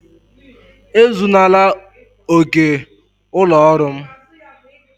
Ezunala ókè ụlọ ọrụ m!